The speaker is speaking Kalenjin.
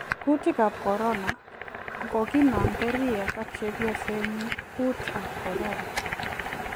Kuutik ab corona: Koginamda Riek ak chepyosenyin kuut ab corona.